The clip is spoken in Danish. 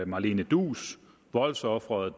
malene duus voldsofferet